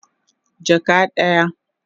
Jaka daya